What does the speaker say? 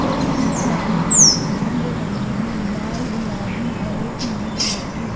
और बहुत सारे झंडे लगे है लाल गुलाबी हरे पीले कलर के--